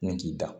Nin k'i da